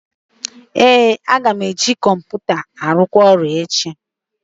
Ee, aga m eji kọmputa ahụ ruo ọrụ echi